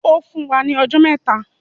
Ó fún wa ní ọjọ́ mẹ́ta.